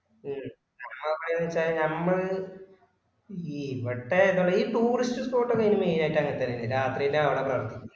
ഉം ഞമ്മള് എങ്ങനെവേച്ചാല് ഞമ്മൾ ഈ ഇവടെ ഈ tourist spot ഒക്കെ main ആയിട്ട് അങ്ങനെത്തന്നെല്ലേ രാത്രില് കാണാൻ പാടുള്ളു